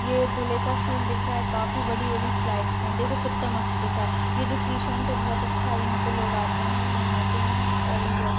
ये एक धुले का सीन दिख रहा है काफी बड़ी-बड़ी स्लाइड्स है देखो कित्ता मस्त दिख रहा ये जो क्रिशॲन्ट है बहुत अच्छा यहा पे लोग आते है नहाते है और एंजॉय कर--